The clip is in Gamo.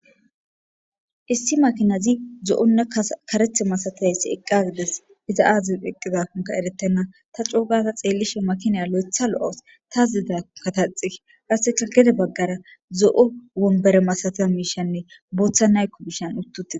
issi makinazi zo7onna karethe masatiyayssi eqqa gides iza aaziz piqqidaonka eretena ta coogata xeellishe makinaya lo7etha lo7os tazida kataxi aseka gede baggara zo7o wombere masatiya miishanne booththa naykko bishan uttutii